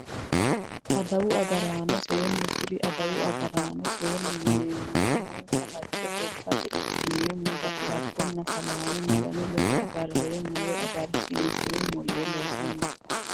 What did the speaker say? Adawu agaraano seene kuri adawu agaraano seenu yineemori umonsa fajje gobate ikineemo ga`labonnaa salaame maganu ledo agareemo woyi agarsiinseemo yee loosani no.